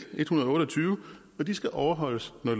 en hundrede og otte og tyve og de skal overholdes når